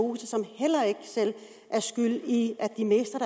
og som heller ikke selv er skyld i at de mister